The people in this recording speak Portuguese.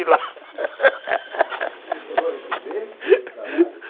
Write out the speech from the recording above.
nunca mais apareci lá Você chegou a receber esse trabalho?